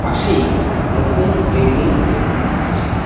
পাশেই নতুন বিল্ডিং তৈরি হচ্ছে।